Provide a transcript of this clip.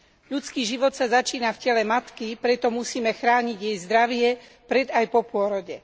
Ľudský život sa začína v tele matky, preto musíme chrániť jej zdravie pred aj po pôrode.